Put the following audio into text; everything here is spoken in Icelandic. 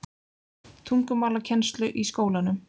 tungumálakennslu í skólanum.